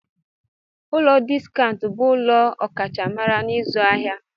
Ụlọ Diskaụnt bụ ụlọ ọrụ ọkachamara n'ịzụ ahịa.